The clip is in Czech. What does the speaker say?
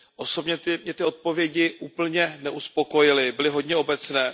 Osobně mě ty odpovědi úplně neuspokojily, byly hodně obecné.